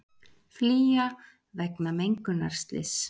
Flýja vegna mengunarslyss